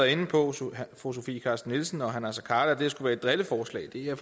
inde på fru sofie carsten nielsen og herre naser khader at det skulle være et drilleforslag det er